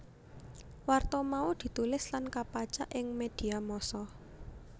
Warta mau ditulis lan kapacak ing medhia massa